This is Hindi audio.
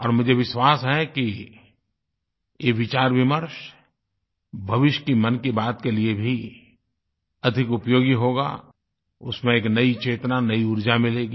और मुझे विश्वास है कि ये विचारविमर्श भविष्य मन की बात के लिए भी अधिक उपयोगी होगा उसमें एक नयी चेतना नयी ऊर्जा मिलेगी